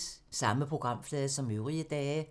Samme programflade som øvrige dage